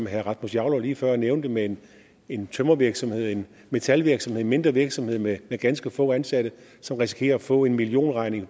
herre rasmus jarlov lige før nævnte med en tømrervirksomhed en metalvirksomhed eller en mindre virksomhed med ganske få ansatte risikerer at få en millionregning i